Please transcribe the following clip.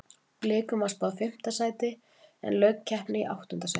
Blikum var spáð fimmta sæti en lauk keppni í áttunda sæti.